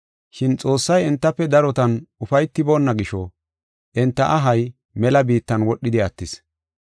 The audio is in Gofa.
Shin Xoossay entafe darotan ufaytiboonna gisho, enta ahay mela biittan wodhidi attis.